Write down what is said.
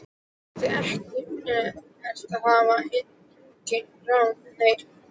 Ég átti ekkert og hafði engin ráð með neitt.